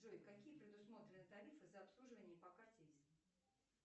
джой какие предусмотрены тарифы за обслуживание по карте виза